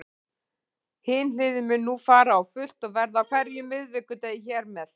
Hin hliðin mun nú fara á fullt og verða á hverjum miðvikudegi hér með.